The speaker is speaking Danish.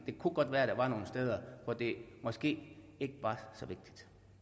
det kunne godt være der var nogle steder hvor det måske ikke var så vigtigt